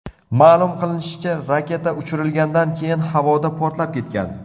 Ma’lum qilinishicha, raketa uchirilgandan keyin havoda portlab ketgan.